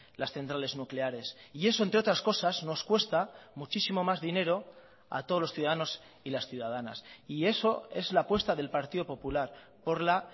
las centrales nucleares y eso entre otras cosas nos cuesta muchísimo más dinero a todos los ciudadanos y las ciudadanas y eso es la apuesta del partido popular por la